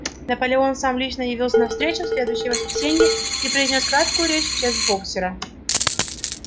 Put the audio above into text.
наполеон сам лично явился на встречу в следующее воскресенье и произнёс краткую речь в честь боксёра